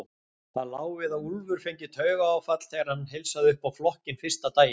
Það lá við að Úlfur fengi taugaáfall þegar hann heilsaði upp á flokkinn fyrsta daginn.